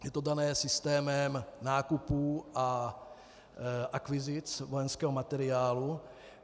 Je to dané systémem nákupů a akvizic vojenského materiálu.